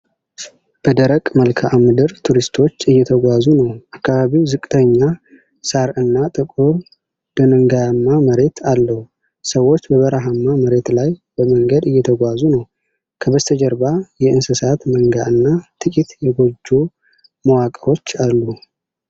በደረቅ መልክዓ ምድር ቱሪስቶች እየተጓዙ ነው። አካባቢው ዝቅተኛ ሳር እና ጥቁር ድንጋያማ መሬት አለው። ሰዎች በበረሃማ መሬት ላይ በመንገድ እየተጓዙ ነው። ከበስተጀርባ የእንስሳት መንጋ እና ጥቂት የጎጆ መዋቅሮች አሉ።